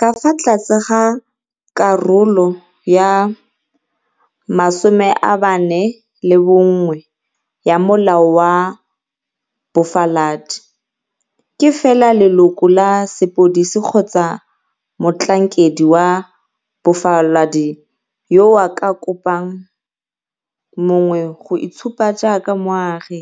Ka fa tlase ga Karolo 41 ya Molao wa Bofaladi, ke fela leloko la sepodisi kgotsa motlhankedi wa bofaladi yo o ka kopang mongwe go itshupa jaaka moagi,